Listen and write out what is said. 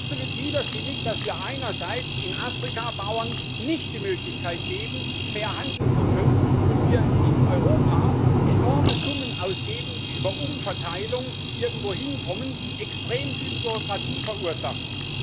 Das ist absolut widersinnig, dass wir einerseits in Afrika Bauern nicht die Möglichkeit geben, fair handeln zu können, und in Europa enorme Summen ausgeben, die über Umverteilung irgendwo hinkommen, extrem viel Bürokratie verursachen.